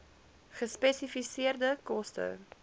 gespesifiseerde koste